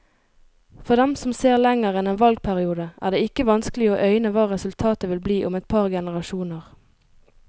For dem som ser lenger enn en valgperiode, er det ikke vanskelig å øyne hva resultatet vil bli om et par generasjoner.